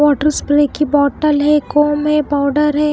Water spray की bottle है एक कोम्ब है पाउडर है।